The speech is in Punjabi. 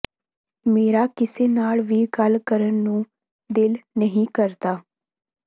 ਮੇਰਾ ਕਿਸੇ ਨਾਲ ਵੀ ਗੱਲ ਕਰਨ ਨੂੰ ਦਿਲ ਨਹੀਂ ਕਰਦਾ